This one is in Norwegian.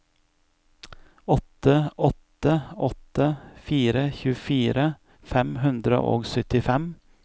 åtte åtte åtte fire tjuefire fem hundre og syttifem